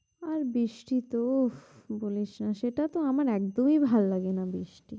আর বৃষ্টি তো বলিস না, সেটাতো আমার একদম ভালো লাগে না বৃষ্টি।